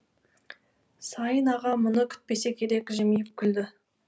сайын аға мұны күтпесе керек жымиып күлді